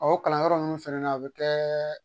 o kalanyɔrɔ ninnu fɛnɛ na a be kɛɛ